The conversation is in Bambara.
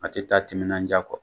A tI taa timinan ja kɔ.